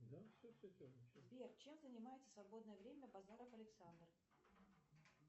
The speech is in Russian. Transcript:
сбер чем занимается в свободное время базаров александр